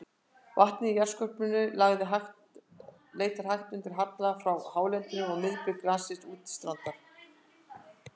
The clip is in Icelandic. Vatnið í jarðskorpunni leitar hægt undan halla frá hálendinu um miðbik landsins út til strandar.